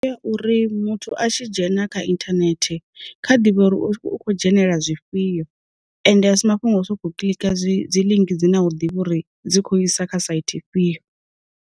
Ndi ya uri muthu a tshi dzhena kha inthanethe, kha ḓivhe uri u kho dzhenelela zwifhio, ende a si mafhungo a u soko kiḽika dzi link dzi na u ḓivhi uri dzi kho isa kha saithi ifhio.